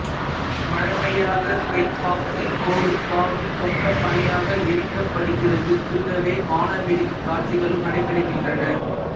வழமையாக கை பாக்சின் கொடும்பாவி சொக்கப்பனையாக எரிக்கப்படுகிறது கூடவே வாணவெடி காட்சிகளும் நடைபெறுகின்றன